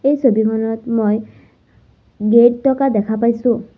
এই ছবিখনত মই গেট থকা দেখা পাইছোঁ।